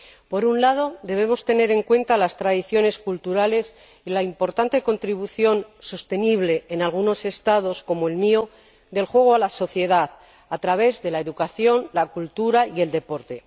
Por un lado, debemos tener en cuenta las tradiciones culturales y la importante contribución sostenible en algunos Estados, como el mío, del juego a la sociedad, a través de la educación, la cultura y el deporte.